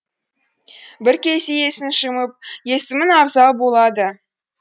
бір кезде есін жиып есімім абзал болады